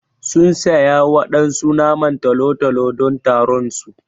Sun siya waɗansu naman tolo-tolo don taron su.